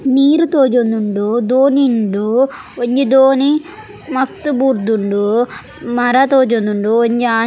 ನೀರ್ ತೋಜೊಂದುಂಡು ದೋಣಿ ಉಂಡು ಒಂಜಿ ದೋಣಿ ಮಗ್ತ್ ಬೂರ್ದುಂಡು ಮರ ತೋಜೊಂದುಂಡು ಒಂಜಿ ಆಂಜೊ.